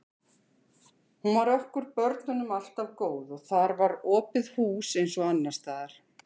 Hún var okkur börnunum alltaf góð og þar var opið hús eins og annars staðar.